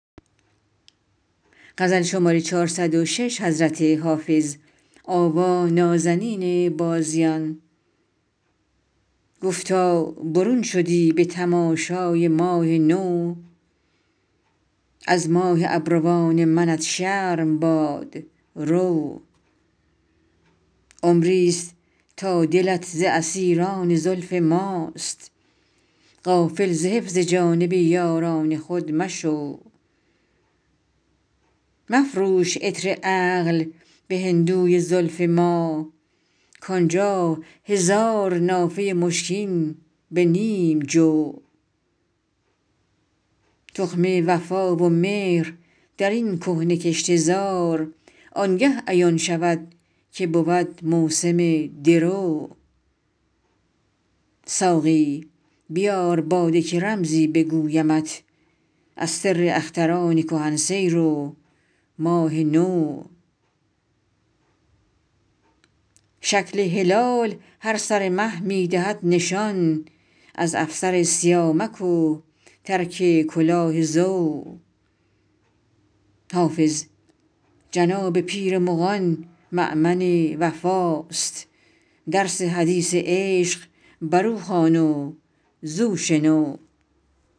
گفتا برون شدی به تماشای ماه نو از ماه ابروان منت شرم باد رو عمری ست تا دلت ز اسیران زلف ماست غافل ز حفظ جانب یاران خود مشو مفروش عطر عقل به هندوی زلف ما کان جا هزار نافه مشکین به نیم جو تخم وفا و مهر در این کهنه کشته زار آن گه عیان شود که بود موسم درو ساقی بیار باده که رمزی بگویمت از سر اختران کهن سیر و ماه نو شکل هلال هر سر مه می دهد نشان از افسر سیامک و ترک کلاه زو حافظ جناب پیر مغان مأمن وفاست درس حدیث عشق بر او خوان و زو شنو